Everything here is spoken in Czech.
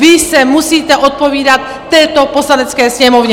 Vy se musíte odpovídat této Poslanecké sněmovně!